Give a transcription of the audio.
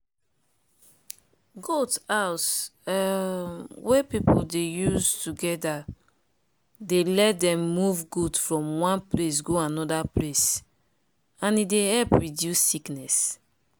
goat house um wey people dey use together dey let dem move goat from one place go another place and e dey help reduce sickness.